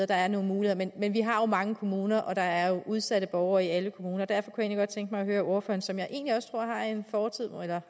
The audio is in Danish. der er nogle muligheder men vi har jo mange kommuner og der er udsatte borgere i alle kommuner og derfor kunne jeg tænke mig at høre ordføreren som jeg egentlig også tror